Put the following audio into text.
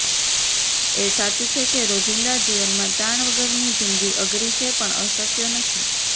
એ સાચું છે કે રોજિંદા જીવનમાં તાણ વગરની જિંદગી અઘરી છે પણ અશક્ય નથી